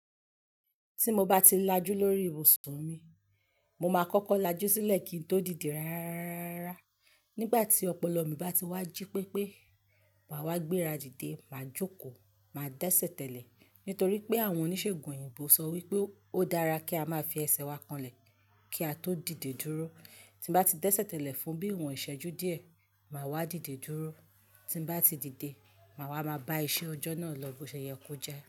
Tí mo bá ti lajú lórí ibùsùn mi, mo máa kọ́kọ́ lajú sílẹ̀ kín tó dìde ráráárá. Nígbà tí ọpọlọ mi bá ti wá jí pé pé màá wá gbéra dìde, màá jókòó. Màá dẹ́sẹ̀tẹ̀lẹ̀ nítorí pé àwọn oníṣègùn òyìnbó sọ wípé ó dára kí a máa fi ẹsẹ̀ wa kanlẹ̀ kí a tó dìde dúró. Tí mo bá ti dẹ́sẹ̀tẹ̀lẹ̀ fún bí iwọn iṣẹ́jú díẹ̀, màá wá dìde dúró. Tín bá ti dìde, màá wá máa bá iṣẹ́ ọjọ́ náà lọ bó ṣe yẹ kó jẹ́.